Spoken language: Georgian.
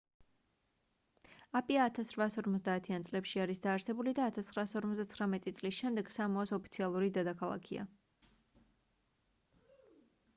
აპია 1850-იან წლებში არის დაარსებული და 1959 წლის შემდეგ სამოას ოფიციალური დედაქალაქია